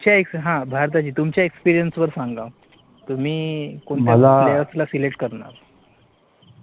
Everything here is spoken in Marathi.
तुमच्या, हां, तुमच्या experience वर सांगा, तुम्ही कोणत्या, players ला select करणार?